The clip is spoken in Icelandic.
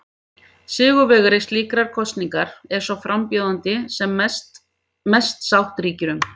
Sigurvegari slíkrar kosningar er sá frambjóðandi sem mest sátt ríkir um.